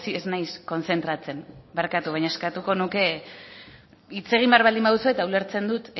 ez naiz kontzentratzen barkatu baina eskatuko nuke hitz egin behar baldin baduzue eta ulertzen dut